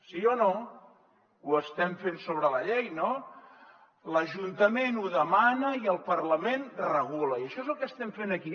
sí o no ho estem fent sobre la llei no l’ajuntament ho demana i el parlament regula i això és el que estem fent aquí